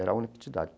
Era a.